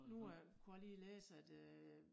Nu er kunne jeg lige læse at øh